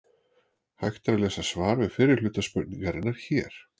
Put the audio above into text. Hægt er að lesa svar við fyrri hluta spurningarinnar hér.